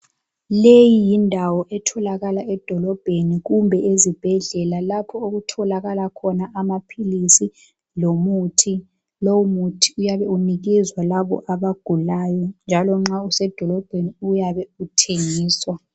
Leyi yindawo etholakala edolobheni kumbe ezibhedlela lapho okutholakala khona amaphilisi lomuthi lowu muthi uyabe uphiwa labo abagulayo njalo nxa usedolobheni uyabe uthengiswa.